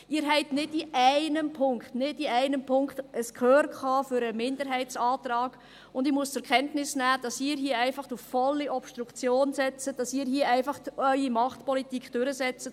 Sie haben nicht in einem Punkt, nicht in einem Punkt, ein Gehör für den Minderheitsantrag, und ich muss zur Kenntnis nehmen, dass Sie hier einfach auf volle Obstruktion setzen, dass Sie hier einfach Ihre Machtpolitik durchsetzen.